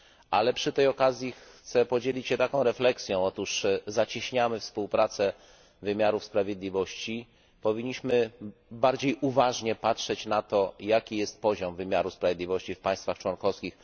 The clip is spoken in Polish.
Ale przy tej okazji chcę podzielić się taką refleksją, otóż zacieśniając współpracę wymiaru sprawiedliwości, powinniśmy bardziej uważnie patrzeć na to, jaki jest poziom wymiaru sprawiedliwości w państwach członkowskich.